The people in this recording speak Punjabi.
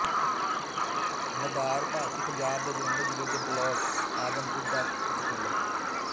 ਮਦਾਰ ਭਾਰਤੀ ਪੰਜਾਬ ਦੇ ਜਲੰਧਰ ਜ਼ਿਲ੍ਹੇ ਦੇ ਬਲਾਕ ਆਦਮਪੁਰ ਦਾ ਇੱਕ ਪਿੰਡ ਹੈ